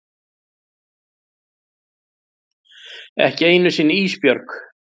Ekki einu sinni Ísbjörg.